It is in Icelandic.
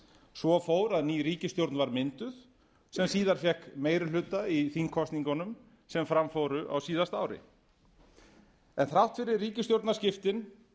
svo fór að ný ríkisstjórn var mynduð sem síðar fékk meiri hluta í þingkosningunum sem fram fóru á síðasta ári en þrátt fyrir ríkisstjórnarskiptin